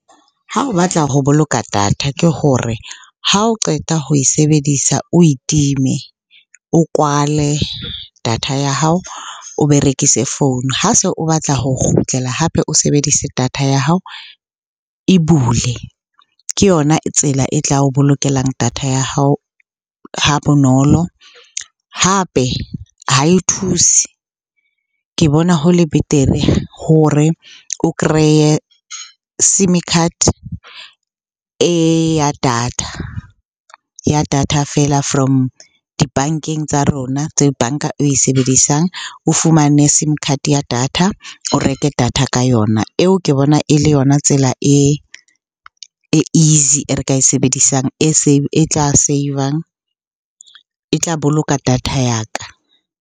Ha o batla ho boloka data ke hore ha o qeta ho e sebedisa, o itime. O kwale data ya hao, o berekise founu. Ha se o batla ho kgutlela hape o sebedise data ya hao, e bule. Ke yona tsela e tla o bolokelang data ya hao ha bonolo, hape ha e thuse. Ke bona ho le betere hore o kreye sim-e card e ya data, ya data feela from dibankeng tsa rona tse banka e sebedisang. O fumane sim card ya data, o reke data ka yona. Eo ke bona e le yona tsela e easy e re ka e sebedisang e tla save-ang, e tla boloka data ya ka.